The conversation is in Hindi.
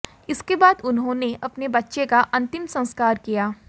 इसके बाद उन्होंने अपने बच्चे का अंतिम संस्कार किया